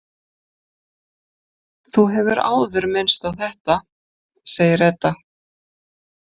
Þú hefur áður minnst á þetta, segir Edda.